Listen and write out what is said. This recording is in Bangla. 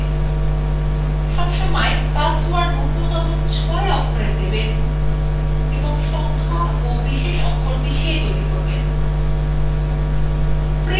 সবসময় পাসওয়ার্ড নুন্যতম ৬ অক্ষরের দেবেল এবং সংখ্যা of বিশেষ অক্ষর মিশিয়ে তৈরী করবেন